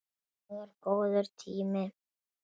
Það var það góður tími.